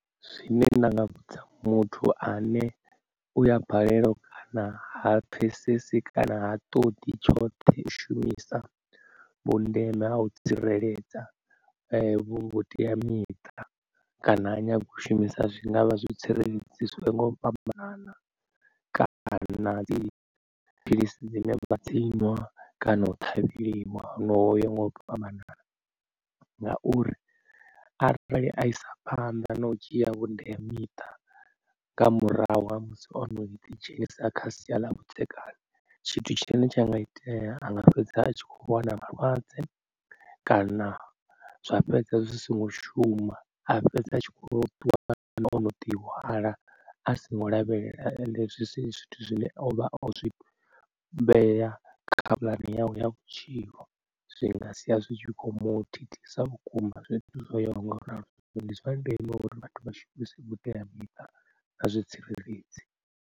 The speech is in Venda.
Zwine nda nga vhudza muthu ane u ya balelwa kana ha pfhesesi kana ha ṱoḓi tshoṱhe u shumisa vhundeme ha u tsireledza vhuteamiṱa kana, ha nyaga ushumisa zwi ngavha zwi tsireledzi zwinwe nga u fhambana kana dzi philisi dzine vha dziṅwa kana u ṱhavheliwa honoho ho yaho nga u fhambanana ngauri arali a isa phanḓa na u dzhia vhuteamiṱa nga murahu ha musi ono ḓi dzhenisa kha sia ḽa vhudzekani. Tshithu tshine tsha nga itea anga fhedza a tshi kho wana malwadze kana zwa fhedza zwi songo shuma a fhedza a tshikho ḓi wana ono ḓi hwala a songo lavhelela ende zwi si zwithu zwine ovha o zwi vhea kha puḽani yawe ya vhutshilo zwinga sia zwitshi kho mu thithisa vhukuma zwithu zwo yaho nga u ralo. Zwino ndi zwandeme uri vhathu vha shumise vhuteamiṱa na zwitsireledzi.